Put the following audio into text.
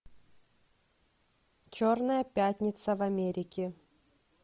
черная пятница в америке